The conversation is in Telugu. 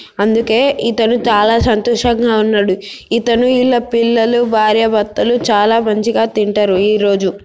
అందుకే ఇతను చాలా సొంతోషంగా ఉన్నాడు ఇతను ఈయన పిల్లలు భర్యాభర్తలు చాలా మంచిగా తింటారు ఈరోజు.